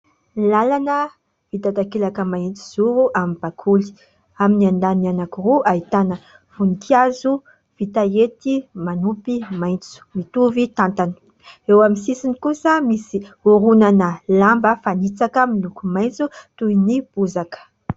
Ny lalana vita takelaka mahitsy zoro amin'ny bakoly. Amin'ny andaniny anankiroa ahitana voninkazo vita hety manompy maitso mitovy tantana, eo amin'ny sisiny kosa misy horonana lamba fanitsaka miloko maitso toy ny bozaka.